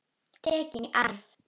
Tekin í arf.